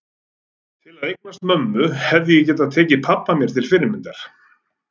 Til að eignast mömmu hefði ég getað tekið pabba mér til fyrirmyndar.